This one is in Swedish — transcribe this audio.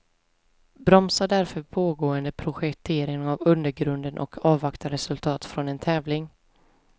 Bromsa därför pågående projektering av undergrunden och avvakta resultat från en tävling.